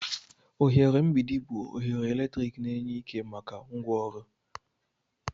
Oghere mgbidi bụ oghere eletrik na-enye ike maka ngwaọrụ.